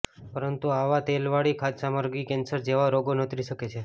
પરંતુ આવા તેલવાળી ખાદ્યસામગ્રી કેન્સર જેવા રોગો નોતરી શકે છે